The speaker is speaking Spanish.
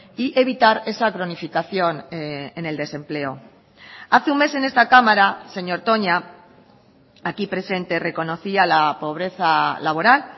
y evitar esa cronificación en el desempleo hace un mes en esta cámara señor toña aquí presente reconocía la pobreza laboral